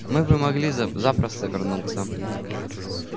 мы бы могли запросто вернуться